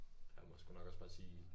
Jeg må sgu nok også bare sige